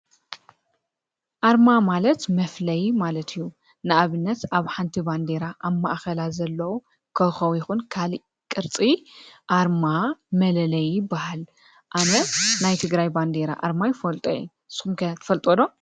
ኣርማ ማለት መፍለይ ማለት እዩ፡፡ ንኣብነት ኣብ ሓንቲ ባንዴራ ኣብ ማእኸላ ዘለዉ ኮኾብ ይኹን ካልእ ቕርፂ ኣርማ መለለይ ይባሃል፡፡ ኣነ ናይ ትግራይ ባንዴራ ኣርማ ይፈልጦ እየ፡፡ ስምኹም ከ ትፈልጥዎ ዶ?